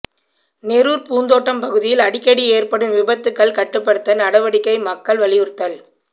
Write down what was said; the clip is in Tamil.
நெரூர் பூந்தோட்டம் பகுதியில் அடிக்கடி ஏற்படும் விபத்துகள் கட்டுப்படுத்த நடவடிக்கை மக்கள் வலியுறுத்தல்